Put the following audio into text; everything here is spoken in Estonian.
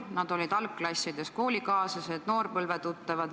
Nad olid algklassides koolikaaslased ja noorpõlvetuttavad.